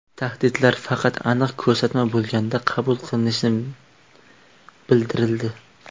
Tahlillar faqat aniq ko‘rsatma bo‘lganda qabul qilinishi bildirildi.